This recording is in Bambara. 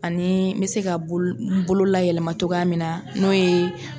Ani n bɛ se ka bolo n bolo layɛlɛma cogoya min na n'o ye